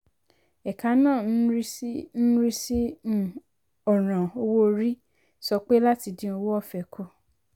ẹ̀ka ń rí ń rí sí um ọ̀ràn um owó orí sọ pé láti dín owó ọ̀fẹ́ kù.